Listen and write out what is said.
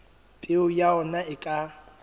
peo ya ona e ka